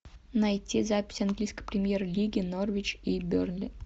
найти запись английской премьер лиги норвич и бернли